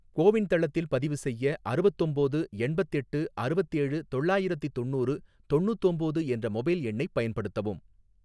CoWIN தளத்தில் பதிவு செய்ய அறுவத்தொம்போது எண்பத்தெட்டு அறுவத்தேழு தொள்ளாயிரத்தி தொண்ணூறு தொண்ணூத்தொம்போது என்ற மொபைல் எண்ணைப் பயன்படுத்தவும்